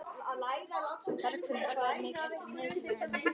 Bergfinnur, hvað er mikið eftir af niðurteljaranum?